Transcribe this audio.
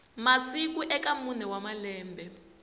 masiku eka mune wa malembe